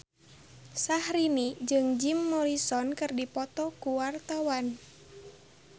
Syahrini jeung Jim Morrison keur dipoto ku wartawan